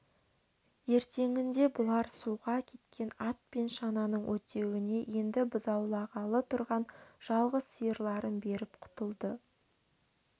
ертеңінде бұлар суға кеткен ат пен шананың өтеуіне енді бұзаулағалы тұрған жалғыз сиырларын беріп құтылды